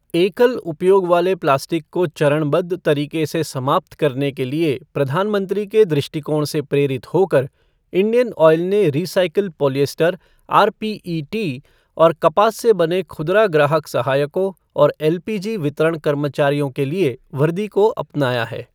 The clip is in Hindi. एकल उपयोग वाले प्लास्टिक को चरणबद्ध तरीके से समाप्त करने के लिए प्रधानमंत्री के दृष्टिकोण से प्रेरित होकर, इंडियन ऑयल ने रीसाइकिल पॉलिएस्टर आरपीईटी और कपास से बने खुदरा ग्राहक सहायकों और एलपीजी वितरण कर्मचारियों के लिए वर्दी को अपनाया है।